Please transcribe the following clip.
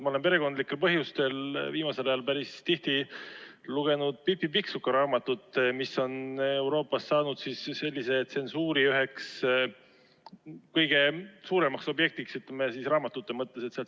Ma olen perekondlikel põhjustel viimasel ajal päris tihti lugenud Pipi Pikksuka raamatut, mis on Euroopas saanud tsensuuri üheks kõige suuremaks objektiks raamatute seas.